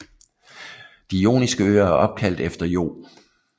De Joniske Øer er opkaldt efter Io